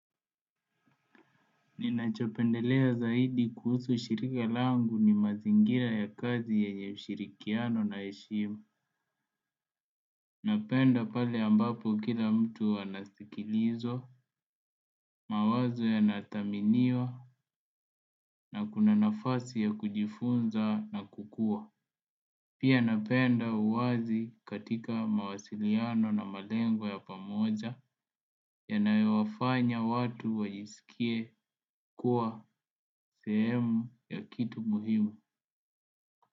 Ninachopendelea zaidi kuhusu shirika langu ni mazingira ya kazi yenye ushirikiano na heshimu. Napenda pale ambapo kila mtu anasikilizwa, mawazo yanathaminiwa na kuna nafasi ya kujifunza na kukua. Pia napenda uwazi katika mawasiliano na malengwa ya pamoja yanayowafanya watu wajisikie kuwa sehemu ya kitu muhimu.